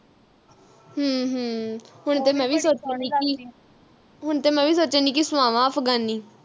ਹਮ ਹਮ ਹੁਣ ਤੇ ਮੈਂ ਵੀ ਸੋਚਣ ਦੀ ਕਿ ਹੁਣ ਤੇ ਮੈਂ ਸੋਚਣ ਦੀਗੀ ਕਿ ਸੁਵਾਵਾ ਅਫਗਾਨੀ